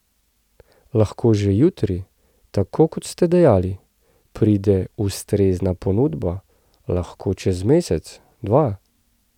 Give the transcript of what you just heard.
Lahko že jutri, tako kot ste dejali, pride ustrezna ponudba, lahko čez mesec, dva...